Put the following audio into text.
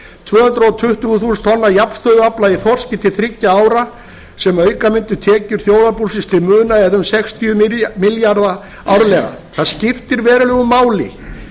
tvö hundruð tuttugu þúsund tonna jafnstöðuafla í þorski til þriggja ára sem auka mundi tekjur þjóðarbúsins til muna eða um sextíu milljarða árlega það skiptir verulegu máli